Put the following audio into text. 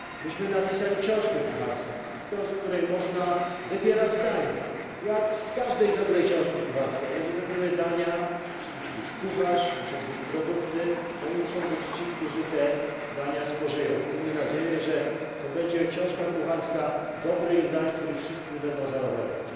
Myśmy napisali książkę kucharską, z której można wybierać dania, jak z każdej dobrej ksiązki kucharskiej, ale żeby były dania, musi być kucharz, muszą być produkty i muszą być ci, którzy te dania spożyją. Miejmy nadzieję, że to będzie książka kucharska dobrych dań, z których wszyscy będą zadowoleni.